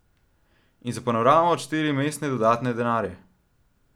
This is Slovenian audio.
In za panoramo odšteli mastne dodatne denarje.